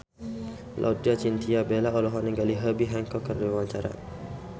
Laudya Chintya Bella olohok ningali Herbie Hancock keur diwawancara